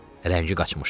Rəngi qaçmışdı.